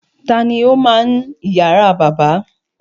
Ta ni ó máa ń ìyàrá bàbá?